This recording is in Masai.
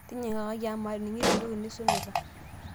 tinyikakaki amu maning'ito entoki nisumita